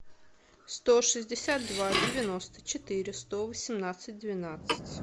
сто шестьдесят два девяносто четыре сто восемнадцать двенадцать